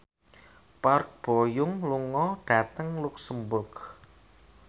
Park Bo Yung lunga dhateng luxemburg